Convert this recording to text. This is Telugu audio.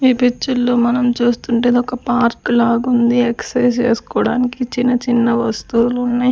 ఈ పిచ్చర్ లో మనం చూస్తుంటే ఇదొక పార్కు లాగుంది ఎక్సైజ్ చేసుకోవడానికి చిన్న చిన్న వస్తువులు ఉన్నాయ్.